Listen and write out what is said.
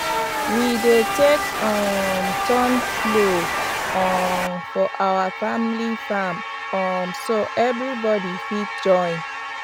we dey take um turn plow um for our family farm um so everybody fit join